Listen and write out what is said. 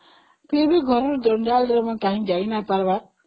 କିଏ ବି ଘରଜଞ୍ଜାଳ ରେ ଯାଇନପରେ